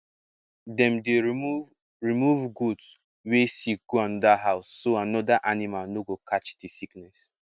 dem dey remove remove goat wey sick go another house so other animal no go catch the sickness